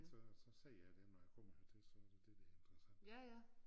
Så så siger jeg det når en kommer hertil så det det der interessant